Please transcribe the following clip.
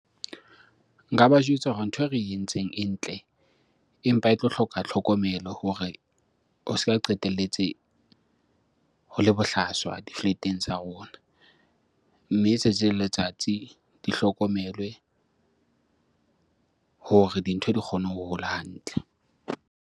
Nka ba jwetsa hore ntho e re entseng e ntle, empa e tlo hloka tlhokomelo hore ho se ka qetelletse ho le bohlaswa di-flat-eng tsa rona. Mme tsatsi le letsatsi di hlokomelwe hore dintho di kgone ho hola hantle.